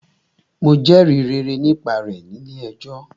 Mo jẹrìí rere nípa rẹ̀ nílé ẹjọ́.